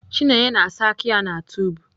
Chineye na-asa aka ya na tub.